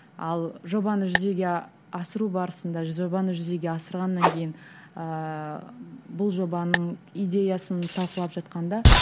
ал жобаны жүзеге асыру барысында жобаны жүзеге асырғаннан кейін ыыы бұл жобаның идеясын талқылап жатқанда